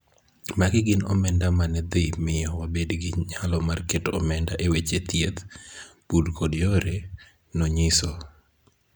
Magi gin omenda ma ne dhi miyo wabed gi nyalo mar keto omenda e weche thieth, pur kod yore, nonyiso.